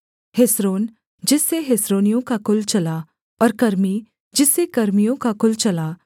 Hezron जिससे हेस्रोनियों का कुल चला और कर्मी जिससे कर्मियों का कुल चला